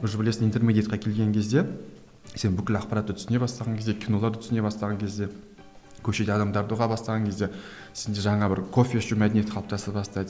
уже білесің интермедиатқа келген кезде сен бүкіл ақпаратты түсіне бастаған кезде киноларды түсіне бастаған кезде көшеде адамдарды ұға бастаған кезде сенде жаңа бір кофе ішу мәдениеті қалыптаса бастайды